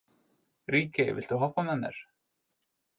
Ríkey, viltu hoppa með mér?